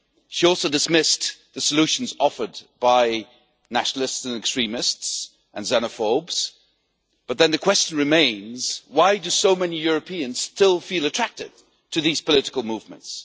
She also dismissed the solutions offered by nationalists, extremists and xenophobes, but then the question remains why do so many Europeans still feel attracted to these political movements?